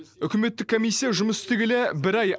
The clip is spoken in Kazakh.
үкіметтік комиссия жұмыс істегелі бір ай